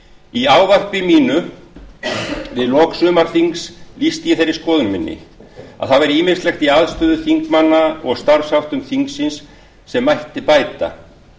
í ávarpi mínu við lok sumarþings lýsti ég þeirri skoðun minni að það væri ýmislegt í aðstöðu þingmanna og starfsháttum þingsins sem mætti bæta